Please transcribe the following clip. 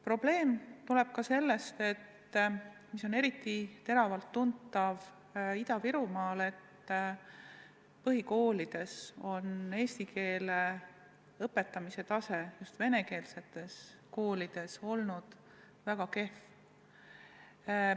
Probleem on ka see – eriti teravalt tuntav on see Ida-Virumaal –, et põhikoolis on eesti keele õpetamise tase vene koolides olnud väga kehv.